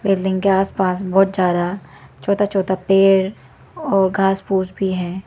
Building के आसपास बहुत सारा छोटा छोटा पेड़ और घास फूस भी है।